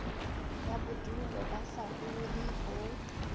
ya bodulo ba saruri ho